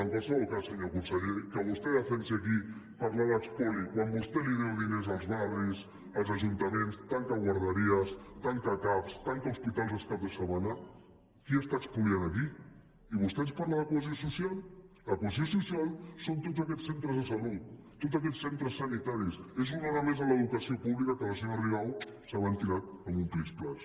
en qualsevol cas senyor conseller que vostè defensi aquí parlar d’espoli quan vostè deu diners als barris als ajuntaments tanca guarderies tanca cap tanca hospitals els caps de setmana qui està espoliant a qui i vostè ens parla de cohesió social la cohesió social són tots aquests centres de salut tots aquests centres sanitaris és una hora més a l’educació pública que la senyora rigau s’ha ventilat en un plis plas